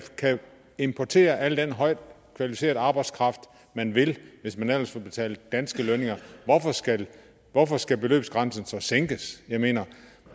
importere al den højt kvalificerede arbejdskraft man vil hvis man ellers vil betale danske lønninger hvorfor skal hvorfor skal beløbsgrænsen så sænkes jeg mener